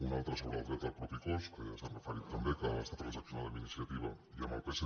una altra sobre el dret al propi cos que ja s’hi han re·ferit també que està transaccionada amb iniciativa i amb el psc